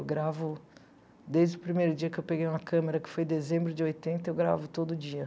Eu gravo desde o primeiro dia que eu peguei uma câmera, que foi em dezembro de oitenta, eu gravo todo dia.